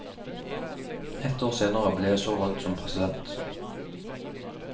Ett år senere ble jeg så valgt som president.